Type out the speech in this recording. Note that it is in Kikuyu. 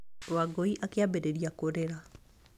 Wangũi akĩambĩrĩria kũrĩra.